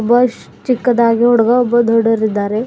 Boys ಚಿಕ್ಕದಾಗಿ ಹುಡುಗ ಒಬ್ಬ ದೊಡ್ಡ ವ್ ರಿದ್ದಾರೆ.